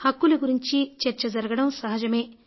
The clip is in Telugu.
హక్కుల గురించిన చర్చ జరగడం సహజమే